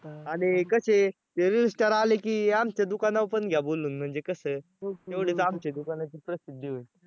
आणि कसे ते reel star आले की आमच्या दुकानावर पण घ्या बोलवून म्हणजे कसं तेवढीच आमच्या दुकानाची प्रसिद्धी होईल.